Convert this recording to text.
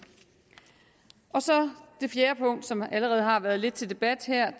så er det fjerde punkt som allerede har været lidt til debat her